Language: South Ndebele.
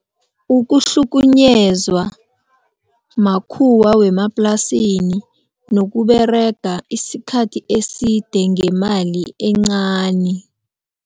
Ukuhlukunyezwa makhuwa wemaplasini nokuberega isikhathi eside ngemali encani.